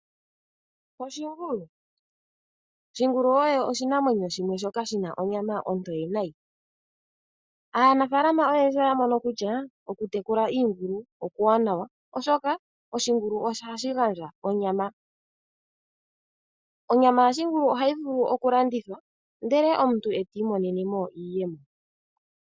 Oshingulu, shingulu osho oshinamwenyo shimwe shoka shina onyama ontowe nayi, aanafalama oyendji oyamono kutya okutekula iingulu okuwanawa , oshoka oshingulu ohashi gandja onyama. Onyama yashingulu ohayi vulu kulandithwa ndele omntu ti imonelemo iiyemo.